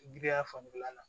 Giriya fanfɛla la